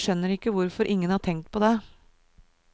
Jeg skjønner ikke hvorfor ingen har tenkt på det.